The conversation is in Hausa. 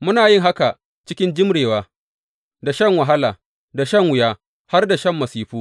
Muna yin haka cikin jimrewa, da shan wahala, da shan wuya, har da shan masifu.